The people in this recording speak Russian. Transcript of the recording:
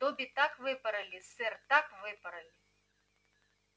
добби так выпороли сэр так выпороли